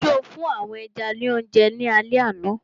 So fún àwọn ẹja ní oúnjẹ ní alẹ àná?